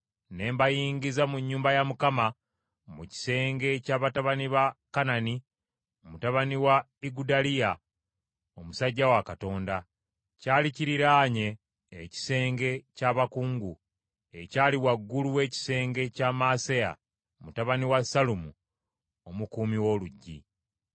Ne mbayingiza mu nnyumba ya Mukama , mu kisenge kya batabani ba Kanani mutabani wa Igudaliya omusajja wa Katonda. Kyali kiriraanye ekisenge kya bakungu, ekyali waggulu w’ekisenge kya Maaseya mutabani wa Sallumu omukuumi w’oluggi.